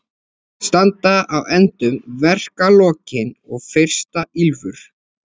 Standa á endum verkalokin og fyrsta ýlfur